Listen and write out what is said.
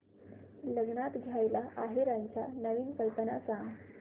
लग्नात द्यायला आहेराच्या नवीन कल्पना सांग